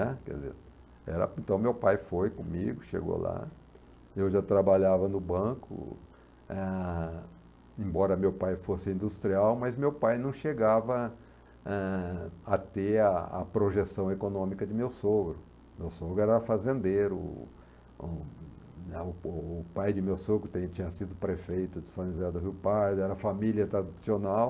né, por exemplo, era então meu pai foi comigo, chegou lá, eu já trabalhava no banco, ah, embora meu pai fosse industrial, mas meu pai não chegava, eh, a ter a a projeção econômica de meu sogro, meu sogro era fazendeiro, o o né o pai de meu sogro tem tinha sido prefeito de São José do Rio Pardo, era família tradicional,